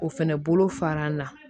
O fɛnɛ bolo fara an na